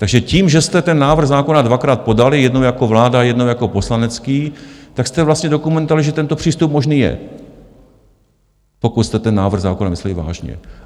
Takže tím, že jste ten návrh zákona dvakrát podali, jednou jako vláda, jednou jako poslanecký, tak jste vlastně dokumentovali, že tento přístup možný je, pokud jste ten návrh zákona mysleli vážně.